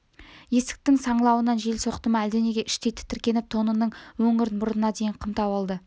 есіктің саңлауынан жел соқты ма әлденеге іштей тітіреніп тонының өңірін мұрнына дейін қымтап алды